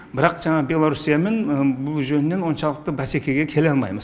бірақ жаңағы беларусиямен бұл жөнінен оншалықты бәсекеге келе алмаймыз